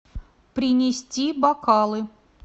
принести бокалы